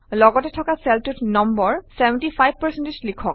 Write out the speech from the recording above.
লগতে থকা চেলটোত নম্বৰ 75 লিখক